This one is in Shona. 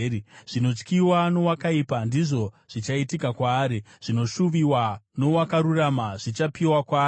Zvinotyiwa nowakaipa ndizvo zvichaitika kwaari; zvinoshuviwa nowakarurama zvichapiwa kwaari.